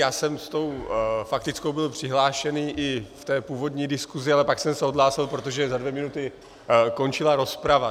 Já jsem s tou faktickou byl přihlášený i v té původní diskusi, ale pak jsem se odhlásil, protože za dvě minuty končila rozprava.